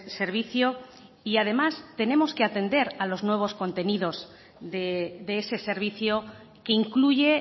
servicio y además tenemos que atender a los nuevos contenidos de ese servicio que incluye